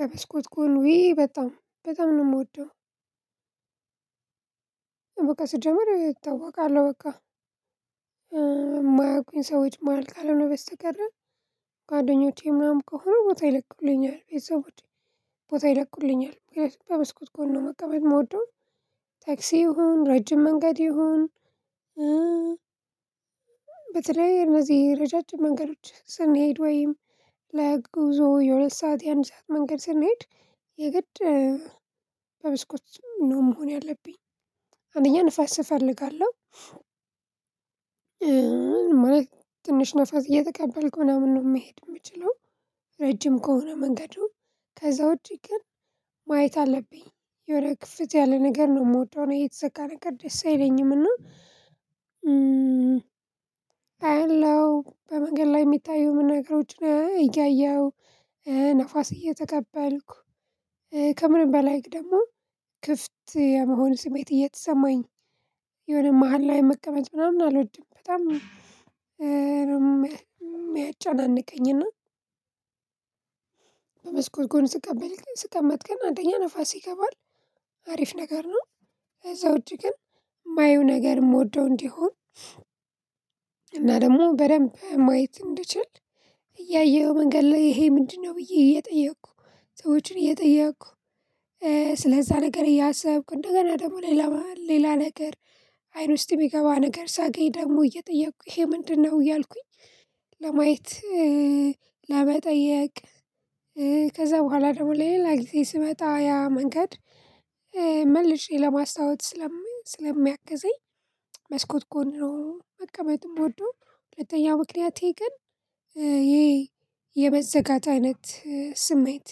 በመስኮት ጎን ዉይ በጣም በጣም ነው የምወደው። በቃ ስጀምር እታወቃለሁ በቃ የማያውቁኝ ሰዎች ማሀል ካልሆነ በስተቀር ጓደኞቼ ምናምን ከሆኑ ቦታ ይለቁልኛል ቤተሰቦቼ ቦታ ይለቁልኛል። በምስኩት ጎን ነው መቀመጥ የምወደው። ታክሲ ይሁን ረጅም መንገድ ይሁን። በተለይ እነዚህ ረጃጅም መንገዶች ስንሄድ ወይም ለጉዞ የሁለት ሰዓት የአንድ ሰዓት መንገድ ስንሄድ የግድ በመስኮት ነው መሆን ያለብኝ አንደኛ ንፋስ ንፋስ እፈልጋለው። እፈልጋለሁ ማለት ትንሽ ንፋስ እየተቀበልኩ ምናምን ነው መሄድ የምችለው። ረጅም ከሆነ መንገዱ ከዛ ውጪ ግን ማየት አለብኝ የወረ ክፍተት ያለ ነገር ነው የምወደው። እኔ የተዘጋ ነገር ደስ አይለኝም እና አለው በመንገድ ላይ የሚታየው ነገሮችን እያየሁ ነፋስ እየተቀበልኩ ከምንም በላይ ደግሞ ክፍት የመሆን ስሜት እየተሰማኝ የሆነ መሃል ላይ መቀመጥ ምናምን አልወድም። በጣም የሚያጨናንቀኝና በመስኮት ጎን ስቀመጥ ጎን ስቀመጥ ግን አንደኛ ንፋስ ይገባል አሪፍ ነገር ነው። እዛው እጅ ግን የማየው ነገር የምወደው እንዲሆን እና ደግሞ በደንብ ማየት እንድችል እያየኸው መንገድ ላይ ይሄ ምንድነው ብዬ እየጠየኩ ሰዎችን እየጠየኩ። ስለዛ ነገር እያሰብኩ እንደገና ደግሞ ሌላ ሌላ ነገር አይን ውስጥ የሚገባ ነገር ሳገኝ ደግሞ እየጠየኩኝ ይሄ ምንድነው እያልኩኝ። ለማየት ለመጠየቅ። ከዛ በኋላ ደግሞ ሌላ ጊዜ ስመጣ ያ መንገድ። መልሼ ለማስታወት ስለምን ስለሚያገዘኝ መስኮት ጎን ነው መቀመጥ የምወደው። ሁለተኛ ምክንያቴ ግን ይሄ የመዘጋት አይነት ስሜት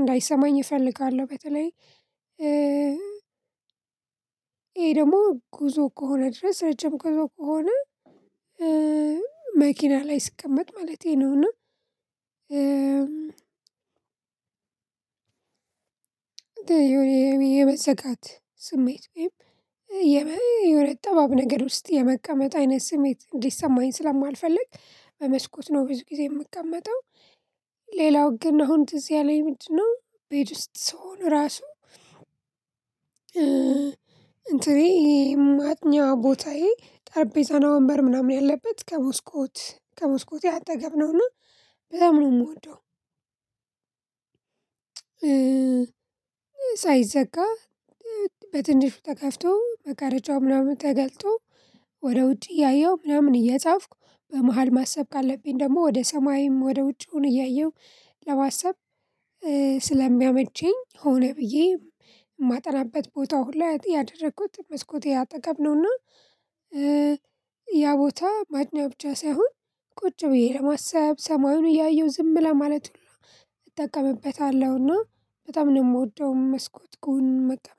እንዳይሰማኝ እፈልጋለሁ። በተለይ ይሄ ደግሞ ጉዞ ከሆነ ድረስ ረጅም ጉዞ ከሆነ። መኪና ላይ ስቀመጥ ማለቴ ነውና። የመዘጋት ስሜት ወይም የሆነ ጠባብ ነገር ውስጥ የመቀመጥ አይነት ስሜት እንዲሰማኝ ስለማልፈልግ በመስኮት ነው ብዙ ጊዜ የምቀመጠው። ሌላው ግን አሁን ትዝ ያአለኝ ምንድነው ቤት ውስጥ ስሆን ራሱ። እንትኔ የማጥኛ ቦታዬ ጠርቤዛና ወንበር ምናምን ያለበት ከሞስኮት ከመስኮቴ አጠገብ ነውና በጣም ነው የምወደው። ሳይዘጋ በትንሹ ተከፍቶ መጋራጃው ምናምን ተገልጦ ወደ ውጪ እያየው ምናምን እየጻፍኩ በመሃል ማሰብ ካለብኝ ደግሞ ወደ ሰማይም ወደ ውጪውን እያየሁ ለማሳብ ስለሚያመቸኝ ሆነ ብዬ የማጠናበት ቦታ ሁላ ያደረኩት መስኮት አጠገብ ነውና። ያ ቦታ ማጥኛ ብቻ ሳይሆን ቁጭ ብዬ ለማሰብ ሰማዩን እያየሁ ዝም ለማለት ሁሉ እጠቀምበታለሁና በጣም ነው የምወደው። መስኮት ጎን መቀመጥ